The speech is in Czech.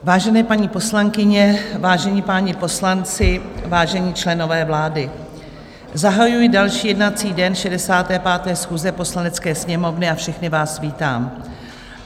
Vážené paní poslankyně, vážení páni poslanci, vážení členové vlády, zahajuji další jednací den 65. schůze Poslanecké sněmovny a všechny vás vítám.